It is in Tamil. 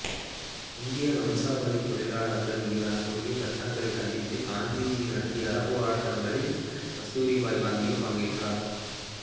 இந்தியா வம்சாவழித் தொழிலாளர்கள் மீதான கொடிய சட்டங்களைக் கண்டித்து காந்திஜி நடத்திய அறப்போராட்டங்களில் கஸ்தூரிபா காந்தியும் பங்கேற்றார்